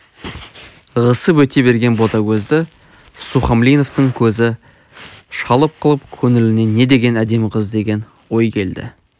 ығысып өте берген ботагөзді сухомлиновтың көзі шалып қалып көңіліне не деген әдемі қыз деген ой келді